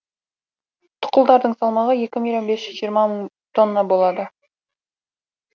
тұқылдардың салмағы екі миллион бес жүз жиырма мың тонна болады